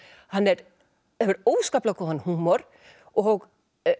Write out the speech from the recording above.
hann hefur óskaplega góðan húmor og